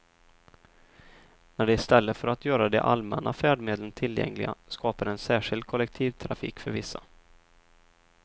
När de i stället för att göra de allmänna färdmedlen tillgängliga skapar en särskild kollektivtrafik för vissa.